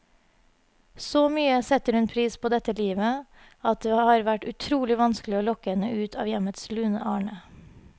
Så mye setter hun pris på dette livet, at det har vært utrolig vanskelig å lokke henne ut av hjemmets lune arne.